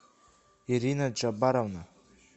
ирина джабаровна